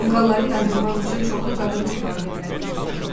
Tonqalları yandırmaq üçün çoxlu qadın qurban verməli oldular.